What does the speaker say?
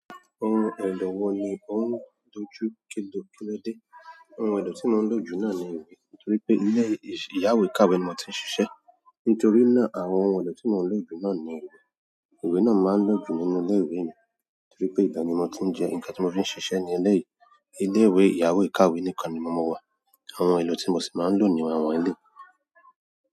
Ohun èlò wo ni ò ń dojú kíló kíló dé? Ohun èlò tii mo n loju náà ní ìwé, nítorí pe ile iyawe kàwé ni mo ti n ṣiṣe. Nítorí náà, àwọn ohun èlò tí mo ń lò jù náà ni ìwé. Ìwé náà ni màá ń lòjù nínú ilé ìwé mi, nítorí pé ibè ni mo ti ń jẹ́ ǹnkan tí mo fi ń ṣiṣẹ́ ní eléyìí. Ilé ìwé ìyàwèékàwé nìkan ni mo mọ wà, àwọn ohun èlò tí mo sì máa ń lò ni àwọn eléyìí.